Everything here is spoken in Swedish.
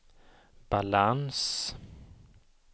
balans